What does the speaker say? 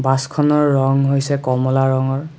বাছখনৰ ৰং হৈছে কমলা ৰঙৰ।